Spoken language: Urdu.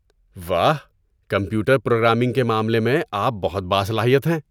واہ! کمپیوٹر پر پروگرامنگ کے معاملے میں آپ بہت باصلاحیت ہیں۔